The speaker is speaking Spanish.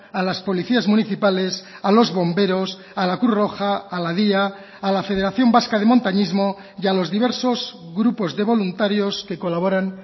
a las policías municipales a los bomberos a la cruz roja a la dya a la federación vasca de montañismo y a los diversos grupos de voluntarios que colaboran